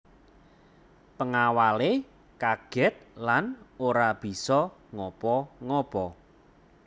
Pengawale kaget lan ora bisa ngapa ngapa